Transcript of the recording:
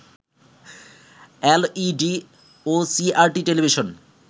LED ও CRT television